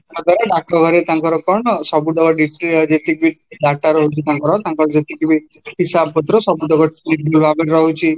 ଡାକଘରେ ତାଙ୍କର କ'ଣ ସବୁତିକ ଯେତିକି data ର ରହୁଛି ତାଙ୍କର ତାଙ୍କର ଯେତିକିବି ହିସାବ ପତ୍ର ସବୁଯାକ ରହୁଛି